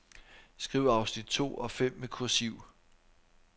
Skriv afsnit to og fem med kursiv.